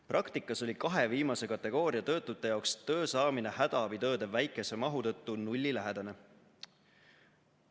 Praktikas oli kahe viimase kategooria töötute jaoks töö saamine hädaabitööde väikese mahu tõttu nullilähedane.